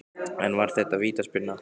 En var þetta vítaspyrna?